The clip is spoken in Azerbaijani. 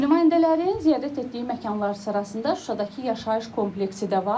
Nümayəndələrin ziyarət etdiyi məkanlar sırasında Şuşadakı yaşayış kompleksi də var